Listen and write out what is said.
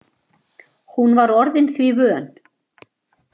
Hún var orðin því vön.